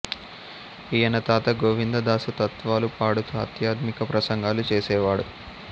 ఈయన తాత గోవిందదాసు తత్వాలు పాడుతూ ఆధ్యాత్మిక ప్రసంగాలు చేసేవాడు